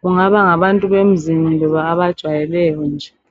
kungaba ngabantu bemzini kumbe ababajwayeleyo nje.